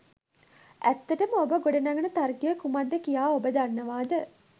ඇත්තටම ඔබ ගොඩ නගන තර්කය කුමක්ද කියා ඔබ දන්නවාද?